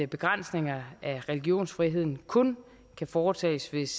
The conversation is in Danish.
begrænsninger af religionsfriheden kun kan foretages hvis